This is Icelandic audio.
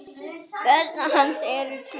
Börn hans eru tvö.